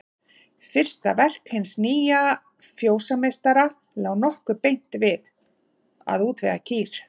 Fyrsta verk hins nýja fjósameistara lá nokkuð beint við: Að útvega kýr.